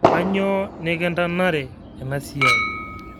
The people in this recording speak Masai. Kainyoo nikintanare enasiai?